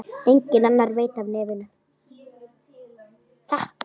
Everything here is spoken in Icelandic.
Enginn annar veit af nefinu.